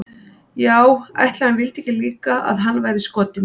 Já ætli hann vildi ekki líka að hann væri skotinn í mér.